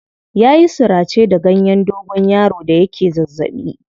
Ya yi surace da ganyen dogonyaro da yake zazzaɓi.